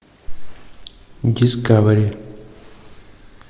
дискавери